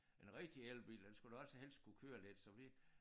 En rigtig elbil den skulle også helst kunne køre lidt så vi